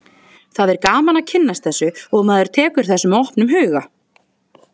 Það er gaman að kynnast þessu og maður tekur þessu með opnum huga.